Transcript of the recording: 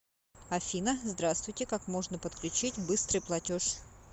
афина здраствуйте как можно подключить быстрый платеж